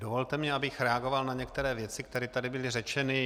Dovolte mi, abych reagoval na některé věci, které tady byly řečeny.